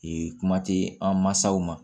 Ee kuma tɛ an mansaw ma